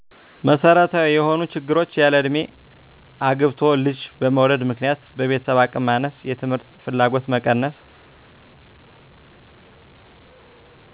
መሠረታዊ የሆኑ ችግሮች ያለእድሜ አግብቶ ልጅ በመውለድ ምክንያት በቤተሰብ አቅም ማነስ የትምህርት ፍላጎት መቀነስ